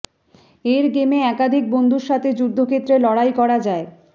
এর গেমে একাধিক বন্ধুর সাথে যুদ্ধক্ষেত্রে লড়াই করা যায়